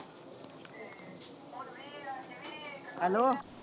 hello